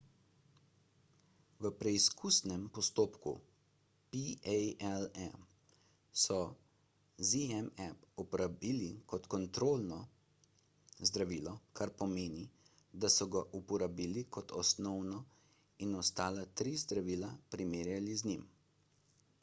v preizkusnem postopku palm so zmapp uporabili kot kontrolno zdravilo kar pomeni da so ga uporabili kot osnovo in ostala tri zdravila primerjali z njim